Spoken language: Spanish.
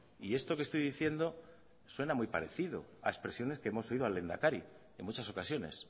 y esto que estoy diciendo suena muy parecido a expresiones que hemos oído al lehendakari en muchas ocasiones